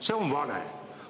See on vale.